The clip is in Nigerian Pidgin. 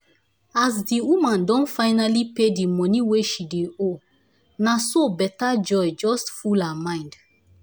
as di woman don finally pay the money wey she dey owe naso better joy just full her mind